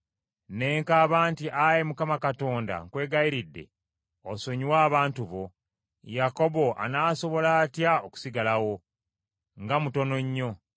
Ne nkaaba nti, “Ayi Mukama Katonda nkwegayiridde osonyiwe abantu bo! Yakobo anaasobola atya okusigalawo? Nga mutono nnyo!”